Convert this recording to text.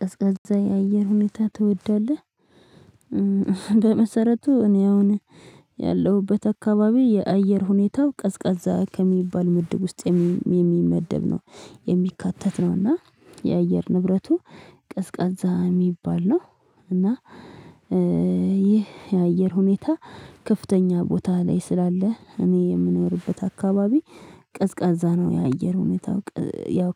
ቀዝቃዛ የአየር ሁኔታ ትወዳለህ? በመሰረቱ እኔ አሁን ያለሁበት አካባቢ የአየር ሁኔታው ቀዝቃዛ ከሚባል ምድብ ውስጥ የሚመደብ ነው የሚካተት ነው እና የአየር ንብረቱ ቀዝቃዛ የሚባል ነው። እና ይህ የአየር ሁኔታ ከፍተኛ ቦታ ላይ ስላለ እኔ የምኖርበት አካባቢ ቀዝቃዛ ነው። የአየር ሁኔታው ያው